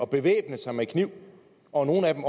bevæbne sig med kniv og nogle af dem